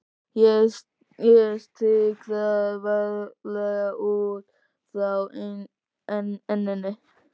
Ég strýk það varlega, út frá enninu.